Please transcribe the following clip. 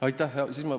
Aitäh!